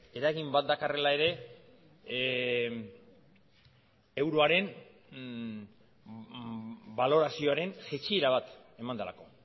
eragin bat dakarrela ere euroaren balorazioaren jaitsiera bat eman delako